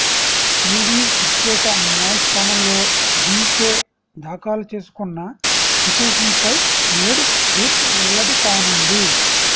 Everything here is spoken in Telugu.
ఈడీ ప్రత్యేక న్యాయస్థానంలో డీకే దాఖలు చేసుకున్న పిటిషన్పై నేడు తీర్పు వెల్లడి కానుంది